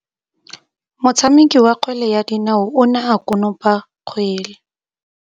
Motshameki wa kgwele ya dinaô o ne a konopa kgwele.